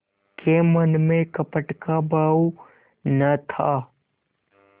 के मन में कपट का भाव न था